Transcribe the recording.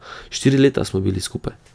Štiri leta smo bili skupaj.